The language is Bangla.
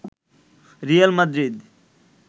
Real Madrid